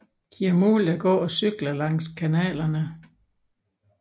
De er muligt at gå og cykle langs kanalerne